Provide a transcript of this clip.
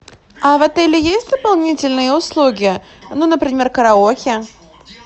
а в отеле есть дополнительные услуги ну например караоке